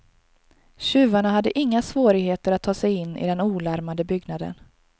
Tjuvarna hade inga svårigheter att ta sig in i den olarmade byggnaden.